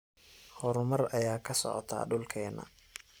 Hormar aya kasoctaa dulkeena.